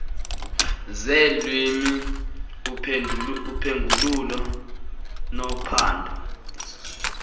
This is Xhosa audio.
zeelwimi uphengululo nophando